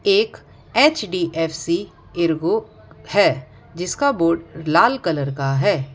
एक HDFC Ergo है जिसका बोर्ड लाल कलर का है।